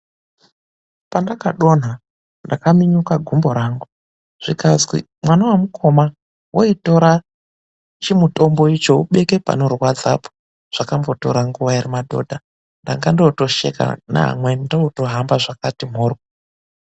Pandakadonha ndakaminyuka gumbo rangu zvikazwi mwana wemukoma weitora chimutombo ubeke panorwadza po ,zvakambotora nguva ere madhodha ndanga ndotosheka neamweni ndotohamba zvakati mhorwo.